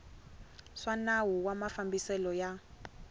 swa nawu wa mafambiselo ya